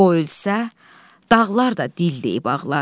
O ölsə, dağlar da dilləyib ağlar.